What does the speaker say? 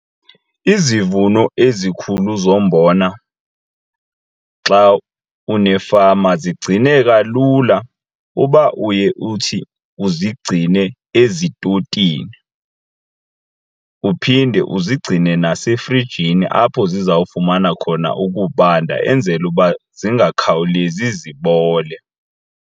Izivuno ezikhulu zombona xa unefama zigcineka lula uba uye uthi uzigcine ezitotini uphinde uzigcine nasefrijini apho zizawufumana khona ukubanda enzele uba zingakhawulezi zibole.